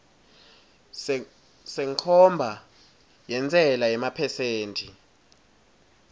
senkhomba yentsela yemaphesenthi